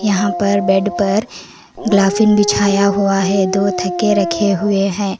यहां पर बेड पर गलाफिंग बिछाया हुआ है दो थके रखे हुए है।